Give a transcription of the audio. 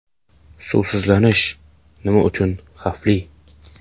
Suvsizlanish nima uchun xavfli?